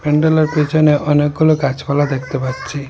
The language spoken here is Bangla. প্যান্ডেলের পেছনে অনেকগুলো গাছপালা দেখতে পাচ্ছি।